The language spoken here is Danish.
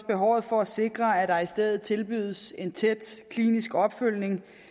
behovet for at sikre at der i stedet tilbydes en tæt klinisk opfølgning